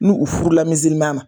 N'u u furula ma